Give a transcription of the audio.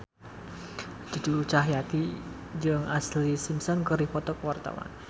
Cucu Cahyati jeung Ashlee Simpson keur dipoto ku wartawan